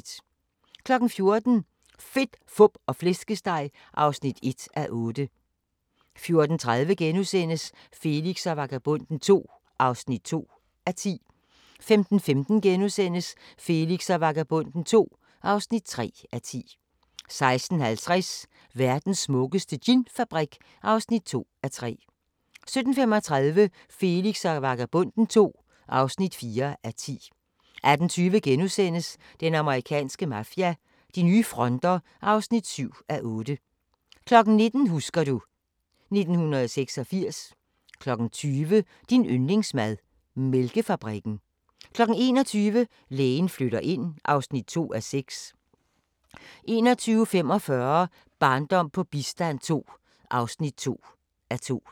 14:00: Fedt, fup og flæskesteg (1:8) 14:30: Felix og Vagabonden II (2:10)* 15:15: Felix og Vagabonden II (3:10)* 16:50: Verdens smukkeste ginfabrik (2:3) 17:35: Felix og Vagabonden II (4:10) 18:20: Den amerikanske mafia: De nye fronter (7:8)* 19:00: Husker du ... 1986 20:00: Din yndlingsmad: Mælkefabrikken 21:00: Lægen flytter ind (2:6) 21:45: Barndom på bistand II (2:2)